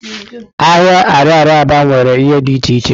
Ahịa ariaria Aba nwere ihe di iche iche.